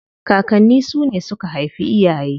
Kakanni su ne suka haifi iyaye.